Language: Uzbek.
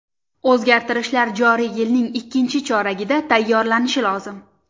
O‘zgartishlar joriy yilning ikkinchi choragida tayyorlanishi lozim.